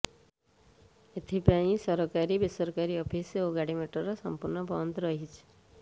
ଏଥିପାଇଁ ସରକାରୀ ବେସରକାରୀ ଅଫିସ ଓ ଗାଡି ମୋଟର ସମ୍ପୂର୍ଣ୍ଣ ବନ୍ଦ ରହିଛି